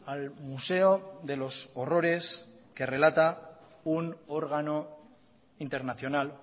al museo de los horrores que relata un órgano internacional